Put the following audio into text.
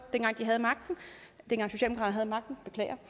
havde magten